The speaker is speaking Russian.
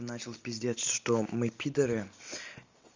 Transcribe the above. начал пиздеть что мы пидары